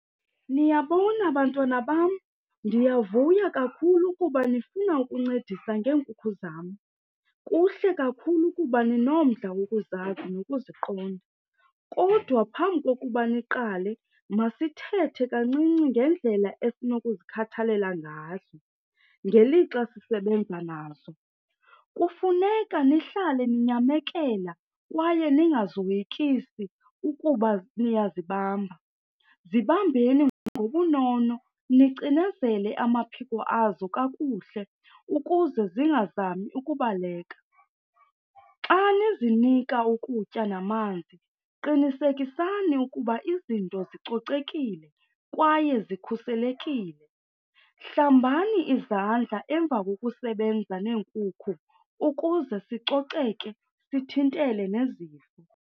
Niyabona bantwana bam, ndiyavuya kakhulu ukuba nifuna ukuncedisa ngeenkukhu zam. Kuhle kakhulu kuba ninomdla wokuzazi nokuziqonda. Kodwa phambi kokuba niqale, masithethe kancinci ngendlela esinokuzikhathalela ngazo ngelixa sisebenza nazo. Kufuneka nihlale ninyamekela kwaye ningazoyikisi ukuba niyazibamba. Zibambeni ngobunono nicinezele amaphiko azo kakuhle ukuze zingazami ukubaleka. Xa nizinika ukutya namanzi, qinisekisani ukuba izinto zicocekile kwaye zikhuselekile. Hlambani izandla emva kokusebenza neenkukhu ukuze sicoceke, sithintele nezifo.